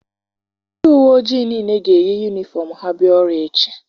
Ndị uwe ojii niile ga-eyi yunifọm ha bịa ọrụ echi.